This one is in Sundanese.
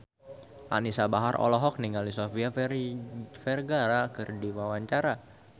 Anisa Bahar olohok ningali Sofia Vergara keur diwawancara